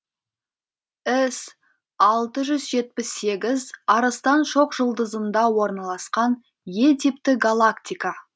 іс алты жүз жетпіс сегіз арыстан шоқжұлдызында орналасқан е типті галактика